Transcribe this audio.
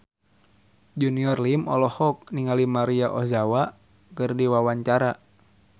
Junior Liem olohok ningali Maria Ozawa keur diwawancara